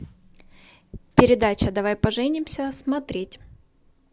передача давай поженимся смотреть